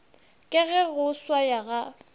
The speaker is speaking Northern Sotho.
ka ge go swaya ga